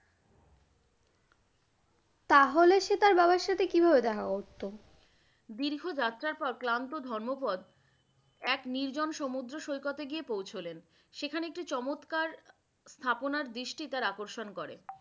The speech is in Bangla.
তাহলে সে তার বাবার সাথে কিভাবে দেখা করতো? দীর্ঘ যাত্রা পর ক্লান্ত ধম্মপদ এক নির্জন সমুদ্র সৈকতে গিয়ে পৌঁছলেন। সেখানে একটি চমৎকার স্থাপনা দৃষ্টি তার আকর্ষণ করে ।